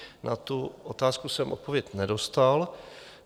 Na tu otázku jsem odpověď nedostal.